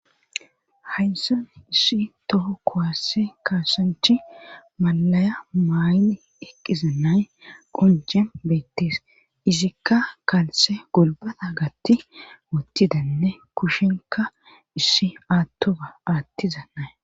Hayssan issi toho kowasse kassanchi malaya mayni eqqiza nay qonjem beettis izikka kaalse golbata gatti ottidanne kushinka issi aattufa aattiza nay.